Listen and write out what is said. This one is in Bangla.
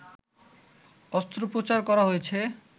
অস্ত্রোপচার করা হয়েছে